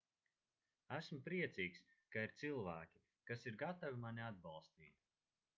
esmu priecīgs ka ir cilvēki kas ir gatavi mani atbalstīt